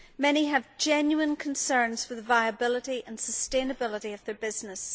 Many have genuine concerns for the viability and sustainability of their business.